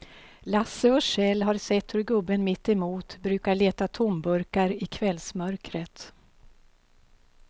Lasse och Kjell har sett hur gubben mittemot brukar leta tomburkar i kvällsmörkret.